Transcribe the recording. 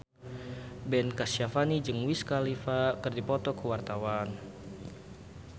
Ben Kasyafani jeung Wiz Khalifa keur dipoto ku wartawan